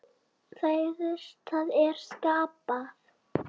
Það er að skapa.